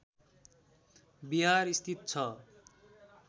विहार स्थित छ